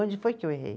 Onde foi que eu errei?